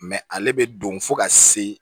ale bɛ don fo ka se